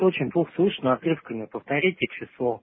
очень плохо слышно отрывками повторите число